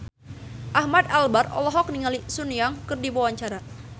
Ahmad Albar olohok ningali Sun Yang keur diwawancara